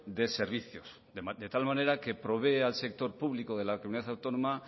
de servicios de tal manera que provea al sector público de la comunidad autónoma